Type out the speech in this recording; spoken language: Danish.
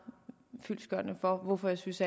fyldestgørende for hvorfor jeg synes